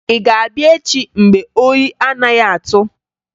Ị ga-abịa echi mgbe oyi anaghị atụ?